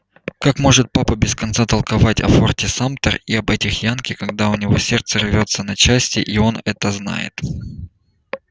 как может папа без конца толковать о форте самтер и об этих янки когда у нее сердце рвётся на части и он это знает